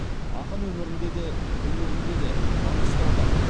ақын өмірінде де өнерінде де маңғыстау бар